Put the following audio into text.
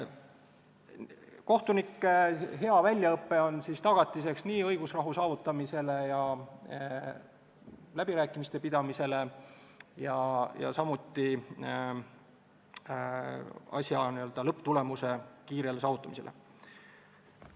Kohtunike hea väljaõpe on siis nii õigusrahu saavutamise kui ka läbirääkimiste pidamise, samuti asja lõpptulemuse kiire saavutamise tagatiseks.